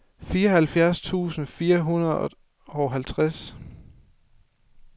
fireoghalvfjerds tusind fire hundrede og halvtreds